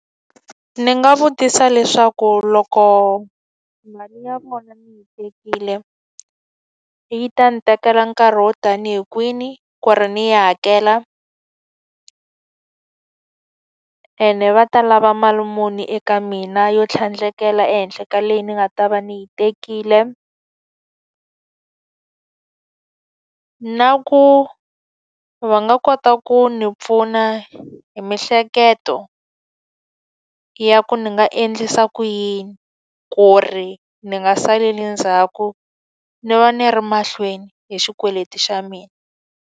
Ndzi nga vutisa leswaku loko mali ya vona ni yi tekile yi ta ndzi tekela nkarhi wo ta ni hi kwini ku ri ndzi yi hakela? Ene va ta lava mali muni eka mina yo tlhandlekela ehenhla ka leyi ni nga ta va ndzi yi tekile? Na ku va nga kota ku ndzi pfuna hi miehleketo ya ku ni nga endlisa ku yini ku ri ni nga saleli ndzhaku, ni va ni ri mahlweni hi xikweleti xa mina?